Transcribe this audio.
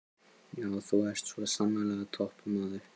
Já, þú ert svo sannarlega toppmaður!